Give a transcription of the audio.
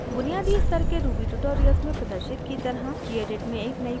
बुनियादी स्तर के ruby ट्यूटोरियल्स में प्रदर्शित की तरह gedit में एक नयी फाइल बनाएं